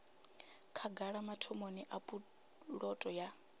khagala mathomoni a puloto ya